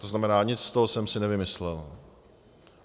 To znamená, nic z toho jsem si nevymyslel.